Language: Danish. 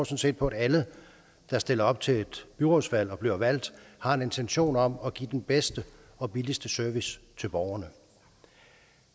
set på at alle der stiller op til et byrådsvalg og bliver valgt har en intention om at give den bedste og billigste service til borgerne